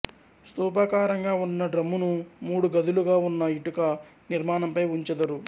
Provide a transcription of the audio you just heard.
స్తూపాకారంగా వున్న డ్రమ్మును మూడు గదులుగా వున్న ఇటుక నిర్మాణం పై వుంచెదరు